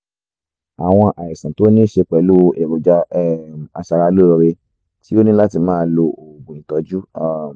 awọn àìsàn tó níí ṣe pẹ̀lú èròjà um aṣaralóore tí o ní láti máa lo oògùn ìtọ́jú um